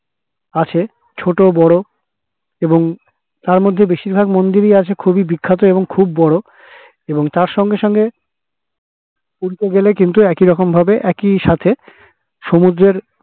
আছে ছোট বড়ো এবং তার মধ্যে বেশির ভাগ মন্দির এ হচ্ছে খুবই বিখ্যাত এবং খুব বড়ো তার সঙ্গে সঙ্গে দেখতে গেলে কিন্তু একই রকম ভাবে একই সাথে সমুদ্রের